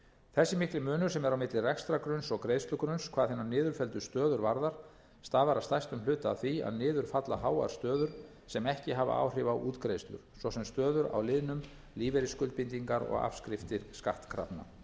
þessi mikli munur sem er á milli rekstrargrunns og greiðslugrunns hvað hinar niðurfelldu stöður varðar stafar að stærstum hluta af því að niður falla háar stöður sem ekki hafa áhrif á útgreiðslur svo sem stöður á liðnum lífeyrisskuldbindingar og afskriftir skattkrafna